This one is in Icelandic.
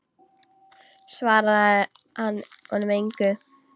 Svaraði hann honum engu.